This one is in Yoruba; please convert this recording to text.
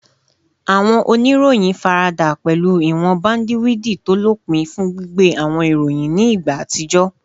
Awọn oniroyin farada pẹlu iwọn bandiwidi to lopin fun gbigbe awọn iroyin ni igba atijọ